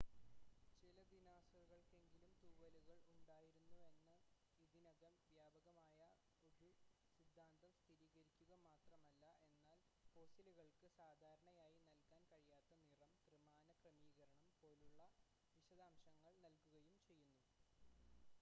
ചില ദിനോസറുകൾക്കെങ്കിലും തൂവലുകൾ ഉണ്ടായിരുന്നുവെന്ന ഇതിനകം വ്യാപകമായിട്ടുള്ള ഒരു സിദ്ധാന്തം സ്ഥിരീകരിക്കുക മാത്രമല്ല എന്നാൽ ഫോസിലുകൾക്ക് സാധാരണയായി നൽകാൻ കഴിയാത്ത നിറം ത്രിമാന ക്രമീകരണം പോലുള്ള വിശദാംശങ്ങൾ നൽകുകയും ചെയ്യുന്നു